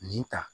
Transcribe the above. Nin ta